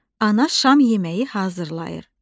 Ana şam yeməyi hazırlayır.